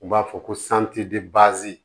U b'a fɔ ko santi de baazi